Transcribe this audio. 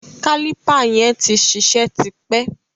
Kálìpà yẹn tí ṣiṣẹ́ ti pẹ́.